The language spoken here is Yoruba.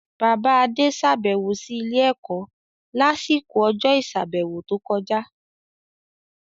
Bàbá Adé sàbẹ̀wò sí ilé-ẹ̀kọ́ lásìkò ọjọ́ ìsàbẹ̀wò tó kọjá.